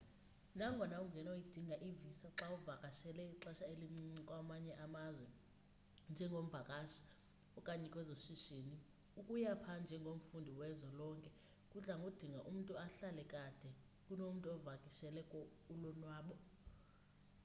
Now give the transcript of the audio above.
nangona ungenoyidinga i-visa xawuvakashele ixesha elincinci kwamanye amazwe njengomvakashi okanye kwezoshishini ukuya pha njengomfundi wezwe lonke kudlango dinga umntu ahlale kade kunomntu ovakishele ulonwabo